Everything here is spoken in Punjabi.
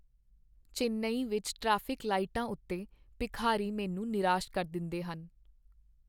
ਚੇਨਈ ਵਿੱਚ ਟ੍ਰੈਫਿਕ ਲਾਈਟਾਂ ਉੱਤੇ ਭਿਖਾਰੀ ਮੈਨੂੰ ਨਿਰਾਸ ਕਰ ਦਿੰਦੇਹਨ।